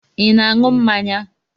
I na-aṅụ mmanya?